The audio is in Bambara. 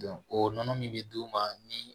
o nɔnɔ min bɛ d'u ma ni